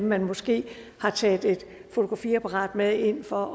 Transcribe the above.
man måske har taget et fotografiapparat med ind for